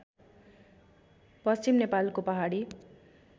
पश्चिम नेपालको पहाडी